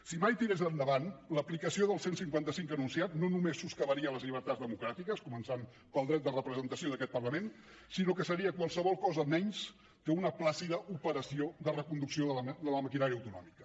si mai tirés endavant l’aplicació del cent i cinquanta cinc anunciat no només soscavaria les llibertats democràtiques començant pel dret de representació d’aquest parlament sinó que seria qualsevol cosa menys que una plàcida operació de reconducció de la maquinària autonòmica